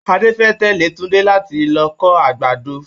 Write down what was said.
Adé fẹ́ tẹ̀lé Tunde láti lọ kó àgbàdo.